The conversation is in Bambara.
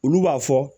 Olu b'a fɔ